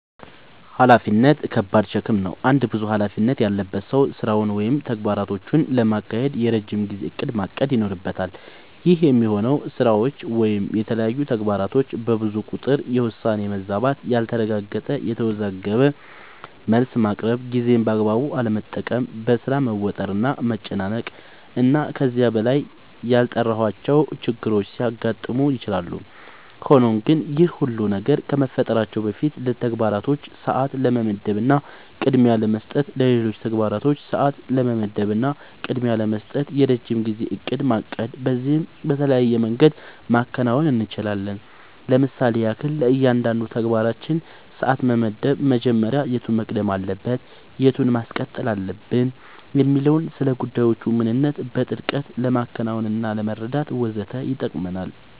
ኃላፊነት ከባድ ሸክም ነው። አንድ ብዙ ኃላፊነት ያለበት ሰው ስራውን ወይም ተግባራቶቹን ለማካሄድ የረጅም ጊዜ እቅድ ማቀድ ይኖርበታል። ይህ የሚሆነው ስራዎች ወይም የተለያዩ ተግባራቶች በብዙ ቁጥር የውሳኔ መዛባት ያልተረጋገጠ፣ የተወዘጋገበ መልስ ማቅረብ፣ ጊዜን በአግባቡ አለመጠቀም፣ በሥራ መወጠር እና መጨናነቅ እና ከዚህ በላይ ያልጠራሁዋቸው ችግሮች ሊያጋጥሙ ይችላሉ። ሆኖም ግን ይህ ሁሉ ነገር ከመፈጠራቸው በፊት ለተግባራቶች ሰዓት ለመመደብ እና ቅድሚያ ለመስጠት ለሌሎች ተግባራቶች ሰዓት ለመመደብ እና ቅድሚያ ለመስጠት የረጅም ጊዜ እቅድ ማቀድ በዚህም በተለያየ መንገድ ማከናወን አንችላለኝ ለምሳሌም ያክል፦ ለእያንዳንዱ ተግባራችን ሰዓት መመደብ መጀመሪያ የቱ መቅደም አለበት የቱን ማስቀጠል አለብኝ የሚለውን፣ ስለጉዳዮቹ ምንነት በጥልቀት ለማወቅናለመረዳት ወዘተ ይጠቅመናል።